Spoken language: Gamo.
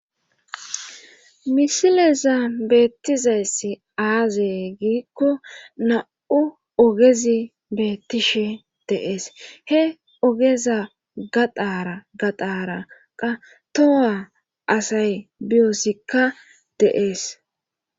misileza beettizayssi aazey giikko na7u ogezi beettishe deees he ogeza gadaara gadaraqa toha asay biyoosikka deees